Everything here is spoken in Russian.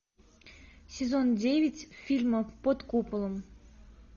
сезон девять фильма под куполом